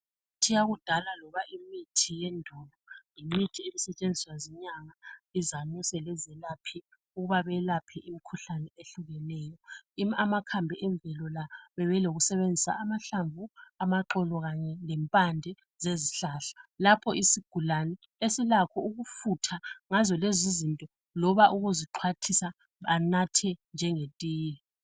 Imithi yakudala loba imithi yendulo yimithi eyayisetshenziswa zinyanga, izanuse lezelaphi ukuba belaphe imikhuhlane eyehlukeneyo. Amakhambi endulo la bebe lokusebenzisa amahlamvu, amaxolo khanye lempande zezihlahla lapho isigulane esilakho ukufutha ngazo lezi izinto, loba ukuzixwathisa anathe njenge tiye.